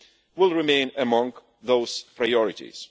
will remain among those priorities.